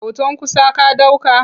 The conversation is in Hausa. Hoton kusa ka ɗauka?